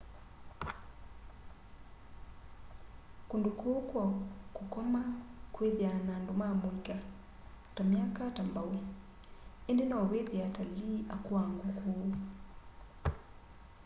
kundũ kũu kwa kũkoma kwithaa na andũ ma mũika ta ma myaka ta mbao indi no withie atalii akũuangu ku